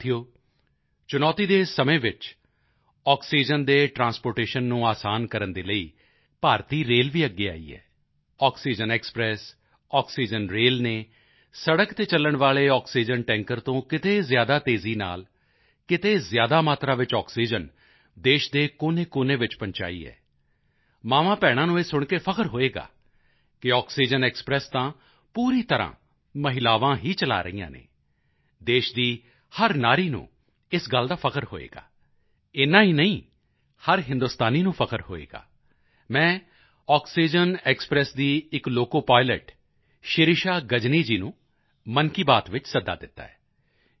ਸਾਥੀਓ ਚੁਣੌਤੀ ਦੇ ਇਸ ਸਮੇਂ ਵਿੱਚ ਆਕਸੀਜਨ ਦੇ ਟ੍ਰਾਂਸਪੋਰਟੇਸ਼ਨ ਨੂੰ ਅਸਾਨ ਕਰਨ ਦੇ ਲਈ ਭਾਰਤੀ ਰੇਲ ਵੀ ਅੱਗੇ ਆਈ ਹੈ ਆਕਸੀਜਨ ਐਕਸਪ੍ਰੈਸ ਆਕਸੀਜਨ ਰੇਲ ਨੇ ਸੜਕ ਤੇ ਚਲਣ ਵਾਲੇ ਆਕਸੀਜਨ ਟੈਂਕਰ ਤੋਂ ਕਿਤੇ ਜ਼ਿਆਦਾ ਤੇਜ਼ੀ ਨਾਲ ਕਿਤੇ ਜ਼ਿਆਦਾ ਮਾਤਰਾ ਵਿੱਚ ਆਕਸੀਜਨ ਦੇਸ਼ ਦੇ ਕੋਨੇਕੋਨੇ ਵਿੱਚ ਪਹੁੰਚਾਈ ਹੈ ਮਾਵਾਂਭੈਣਾਂ ਨੂੰ ਇਹ ਸੁਣ ਕੇ ਫ਼ਖਰ ਹੋਵੇਗਾ ਕਿ ਇੱਕ ਆਕਸੀਜਨ ਐਕਸਪ੍ਰੈਸ ਤਾਂ ਪੂਰੀ ਤਰ੍ਹਾਂ ਮਹਿਲਾਵਾਂ ਹੀ ਚਲਾ ਰਹੀਆਂ ਹਨ ਦੇਸ਼ ਦੀ ਹਰ ਨਾਰੀ ਨੂੰ ਇਸ ਗੱਲ ਦਾ ਫ਼ਖਰ ਹੋਵੇਗਾ ਏਨਾ ਹੀ ਨਹੀਂ ਹਰ ਹਿੰਦੁਸਤਾਨੀ ਨੂੰ ਫ਼ਖਰ ਹੋਵੇਗਾ ਮੈਂ ਆਕਸੀਜਨ ਐਕਸਪ੍ਰੈਸ ਦੀ ਇੱਕ ਲੋਕੋਪਾਈਲਟ ਸ਼ਿਰਿਸ਼ਾ ਗਜਨੀ ਜੀ ਨੂੰ ਮਨ ਕੀ ਬਾਤ ਵਿੱਚ ਸੱਦਾ ਦਿੱਤਾ ਹੈ